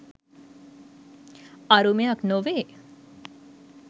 අරුමයක් නොවේ.